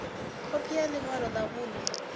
khophi ya ḽi ṅwalo ḽa vhuṋe